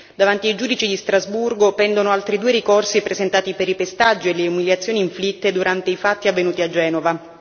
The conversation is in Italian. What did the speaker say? Davanti ai giudici di Strasburgo pendono altri due ricorsi presentati per i pestaggi e le umiliazioni inflitte durante i fatti avvenuti a Genova.